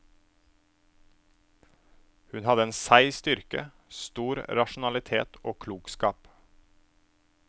Hun hadde en seig styrke, stor rasjonalitet og klokskap.